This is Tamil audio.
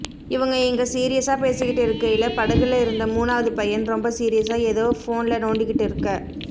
இவங்க இங்க சீரியஸா பேசிக்கிட்டு இருக்கையில படகுல இருந்த மூணாவது பையன் ரொம்ப சீரியஸா எதோ ஃபோன்ல நோண்டிக்கிட்டு இருக்க